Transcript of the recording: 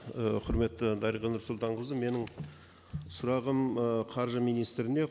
і құрметті дариға нұрсұлтанқызы менің сұрағым і қаржы министріне